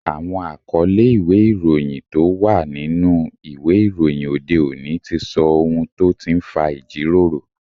Àwọn àkọlé ìwé ìròyìn tó wà nínú ìwé ìròyìn òde òní ti sọ ohun tó ti ń fa ìjíròrò